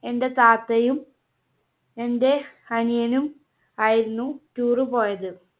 എന്റെ താത്തയും എന്റെ അനിയനും ആയിരുന്നു Tour പോയത്.